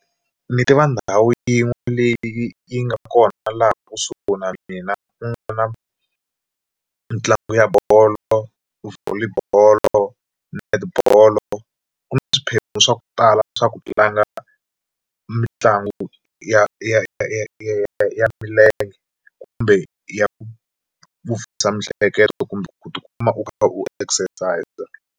Ni tiva ndhawu yin'we leyi yi nga kona laha kusuhi na mina ku na mitlangu ya bolo Volley bolo, netibolo ku na swiphiqo swa ku tala swa ku tlanga mitlangu ya ya ya ya ya milenge kumbe ya ku mihleketo kumbe ku tikuma u kha u exercise.